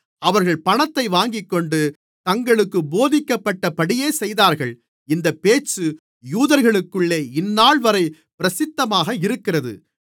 அவர்கள் பணத்தை வாங்கிக்கொண்டு தங்களுக்குப் போதிக்கப்பட்டபடியே செய்தார்கள் இந்தப் பேச்சு யூதர்களுக்குள்ளே இந்தநாள்வரை பிரசித்தமாக இருக்கிறது